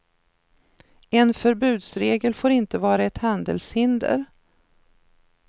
En förbudsregel får inte vara ett handelshinder.